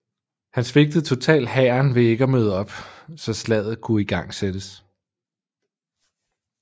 Han svigtede totalt hæren ved ikke at møde op så slaget kunne igangsættes